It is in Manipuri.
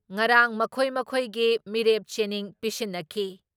ꯉꯔꯥꯡ ꯃꯈꯣꯏ ꯃꯈꯣꯏꯒꯤ ꯃꯤꯔꯦꯞ ꯆꯦꯅꯤꯡ ꯄꯤꯁꯤꯟꯅꯈꯤ ꯫